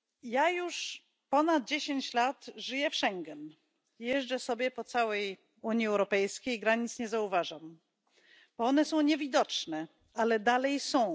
Ja już ponad dziesięć lat żyję w Schengen, jeżdżę sobie po całej Unii Europejskiej, granic nie zauważam, bo one są niewidoczne, ale dalej są.